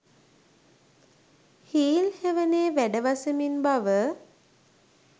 heel හෙවනේ වැඩ වසමින් බව